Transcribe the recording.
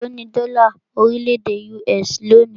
Élo ní dọ́là orílẹ̀-èdè US lónìí?